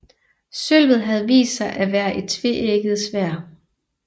Sølvet havde vist sig at være et tveægget sværd